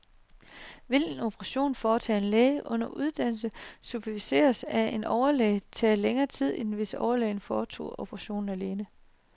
Vil en operation foretaget af en læge under uddannelse, superviseret af en overlæge, tage længere tid end hvis overlægen foretog operationen alene?